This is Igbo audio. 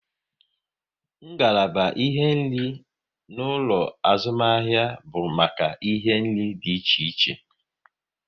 Ngalaba ihe nri na ulo azumahia bu make ihe nri di iche iche